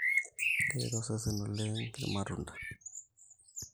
keret osesesn oleng ilmatunda